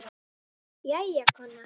Jæja, kona.